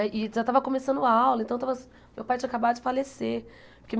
E já estava começando a aula, então estava meu pai tinha acabado de falecer.